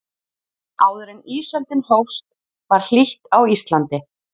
áður en ísöldin hófst var hlýtt á íslandi